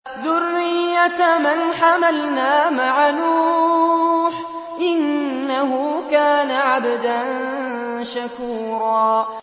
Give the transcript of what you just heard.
ذُرِّيَّةَ مَنْ حَمَلْنَا مَعَ نُوحٍ ۚ إِنَّهُ كَانَ عَبْدًا شَكُورًا